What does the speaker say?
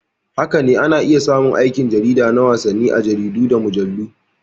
Haka ne, ana iya samun aikin jarida na wasanni a jaridu da mujallu.